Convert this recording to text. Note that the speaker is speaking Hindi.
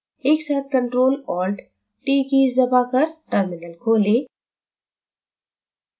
एक साथ ctrl + alt + t कीज़ दबाकर terminal खोलें